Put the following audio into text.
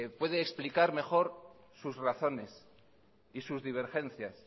puede explicar mejor sus razones y sus divergencias